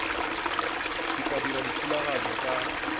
ke tla dira dithulaganyo ka